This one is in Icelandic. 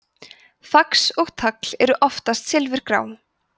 fax og tagl eru oftast silfurgrá